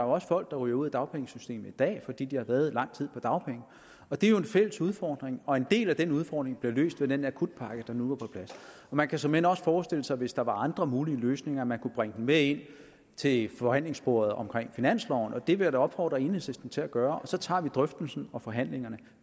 også folk der ryger ud af dagpengesystemet i dag fordi de har været lang tid på dagpenge det er jo en fælles udfordring og en del af den udfordring bliver løst ved den akutpakke der nu er på plads man kan såmænd også forestille sig hvis der er andre mulige løsninger at man kunne bringe dem med ind til forhandlingsbordet om finansloven og det vil jeg da opfordre enhedslisten til at gøre og så tager vi drøftelsen og forhandlingerne